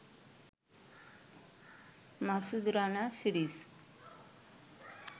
Masud Rana series